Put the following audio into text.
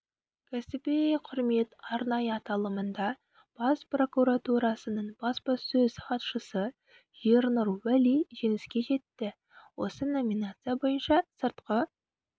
кәсіби құрмет арнайы аталымында бас прокуратурасының баспасөз хатшысы ернұр уәли жеңіске жетті осы номинация бойынша сыртқы